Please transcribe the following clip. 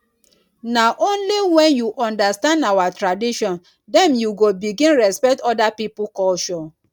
na only wen you understand our tradition dem you go begin respect oda pipo culture.